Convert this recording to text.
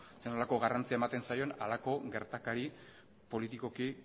zer nolako garrantzia ematen zaion halako gertakari politikoki